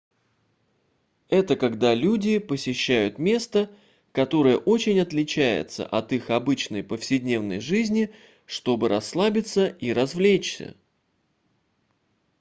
это когда люди посещают место которое очень отличается от их обычной повседневной жизни чтобы расслабиться и развлечься